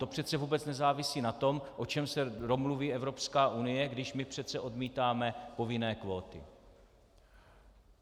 To přece vůbec nezávisí na tom, o čem se domluví Evropská unie, když my přece odmítáme povinné kvóty.